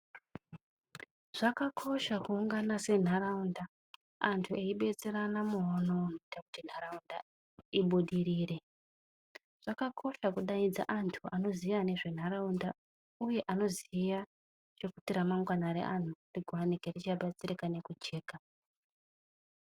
Zvakakosha kuungana sentaraunda vantu veidetserana muono unoite kuti ntaraunda ibudirire, uye zvakakosha kudaidza vantu vanoziva nezve ntaraunda uye vanoziva kuti ramangwana revantu ringe richabatsirika nekujeka.